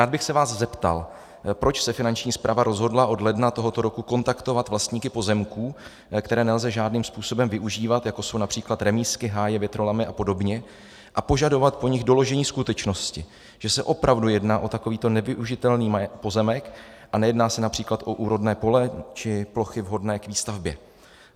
Rád bych se vás zeptal: Proč se Finanční správa rozhodla od ledna tohoto roku kontaktovat vlastníky pozemků, které nelze žádným způsobem využívat, jako jsou například remízky, háje, větrolamy a podobně, a požadovat po nich doložení skutečnosti, že se opravdu jedná o takovýto nevyužitelný pozemek a nejedná se například o úrodné podle či plochy vhodné k výstavbě?